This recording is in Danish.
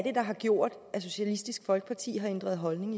er der har gjort at socialistisk folkeparti har ændret holdning